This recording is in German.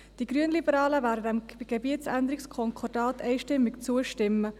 Die Grünliberalen werden diesem Gebietsänderungskonkordat einstimmig zustimmen.